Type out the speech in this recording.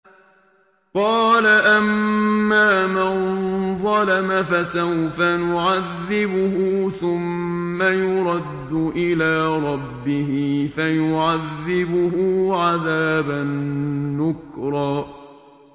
قَالَ أَمَّا مَن ظَلَمَ فَسَوْفَ نُعَذِّبُهُ ثُمَّ يُرَدُّ إِلَىٰ رَبِّهِ فَيُعَذِّبُهُ عَذَابًا نُّكْرًا